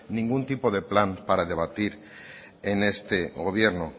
ningún tipo de plan para debatir en este gobierno